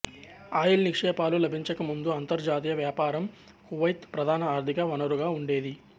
oil నిక్షేపాలు లభించక ముందు అంతర్జాతీయ వ్యాపారం కువైత్ ప్రధాన ఆర్థిక వనరుగా ఉండేది